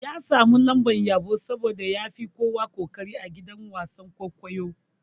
Ya samu lambar yabo saboda yafi kowa koƙari a gidan wasan-kwaikwayo.